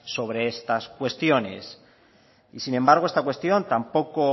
sobre estas cuestiones y sin embargo esta cuestión tampoco